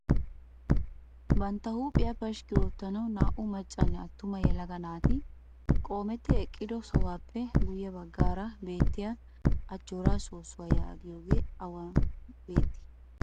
Bantta huuphphiyaa pashikki oottanwu naa"u maccanne attuma yelaga naati qoometti eqqido sohuwappe guye baggaara beettiyaa ajjooraa soossuwaa yaagiyoogee awan bettii?